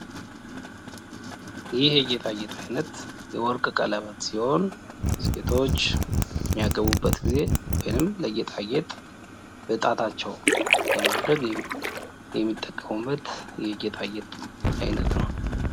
ይህ የጌጣጌጥ አይነት የወርቅ ቀለበት ሲሆን ሴቶች በሚያገቡበት ጊዜ ወይም ለጌጣጌጥ በጣታቸው በማድረግ የሚጠቀሙበት የጌጣጌጥ አይነት ነው።